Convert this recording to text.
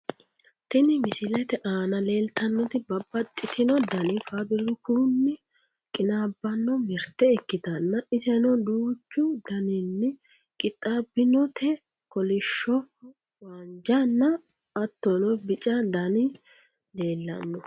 tini misilete aana leeltannoti babbaxitino dani faabirikunni qinaabbanno mirte ikkitanna, iseno duuchu daninni qixxaabbinote kolishsho, haanja nna hattono bica dani leellanno.